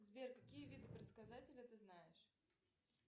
сбер какие виды предсказателя ты знаешь